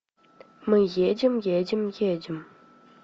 мы едем едем едем